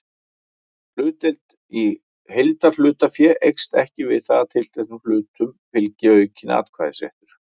Hlutdeild í heildarhlutafé eykst ekki við það að tilteknum hlutum fylgi aukinn atkvæðisréttur.